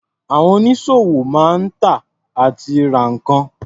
Àwọn onísọ̀wò máa ń tà àti ra nǹkan.